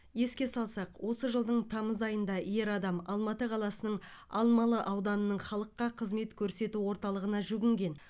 еске салсақ осы жылдың тамыз айында ер адам алматы қаласының алмалы ауданының халыққа қызмет көрсету орталығына жүгінген